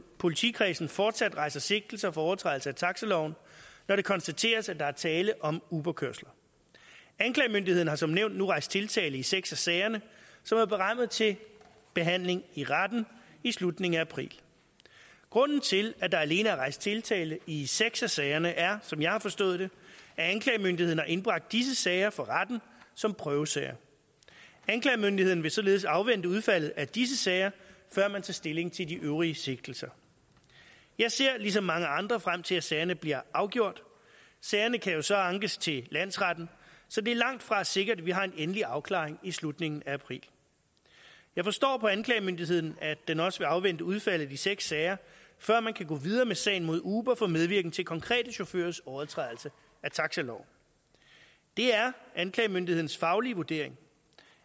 politikredsen fortsat rejser sigtelser for overtrædelse af taxaloven når det konstateres at der er tale om uberkørsler anklagemyndigheden har som nævnt nu rejst tiltale i seks af sagerne som er berammet til behandling i retten i slutningen af april grunden til at der alene er rejst tiltale i seks af sagerne er som jeg har forstået det at anklagemyndigheden har indbragt disse sager for retten som prøvesager anklagemyndigheden vil således afvente udfaldet af disse sager før man tager stilling til de øvrige sigtelser jeg ser ligesom mange andre frem til at sagerne bliver afgjort sagerne kan jo så ankes til landsretten så det er langtfra sikkert at vi har en endelig afklaring i slutningen af april jeg forstår på anklagemyndigheden at den også vil afvente udfaldet af de seks sager før man kan gå videre med sagen mod uber for medvirken til konkrete chaufførers overtrædelse af taxaloven det er anklagemyndighedens faglige vurdering